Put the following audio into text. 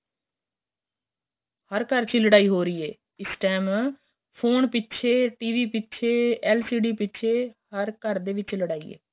ਹਰ ਘਰ ਵਿੱਚ ਹੀ ਲੜਾਈ ਹੋ ਰਹੀ ਏ ਇਸ time ਫੋਨ ਪਿਛੇ TV ਪਿਛੇ LCD ਦੇ ਪਿਛੇ ਹਰ ਘਰ ਦੇ ਵਿੱਚ ਲੜਾਈ ਏ